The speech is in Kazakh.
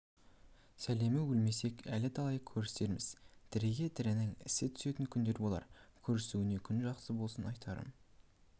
сәлемі өлмесек әлі талай көрісерміз тіріге тірінің ісі түсетін күндер болар көрісуге күн жақсы болсын айтарым